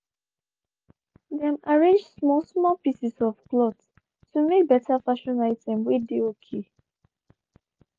dem arrange small small pieces of cloth to make better fashion item whey dey okay.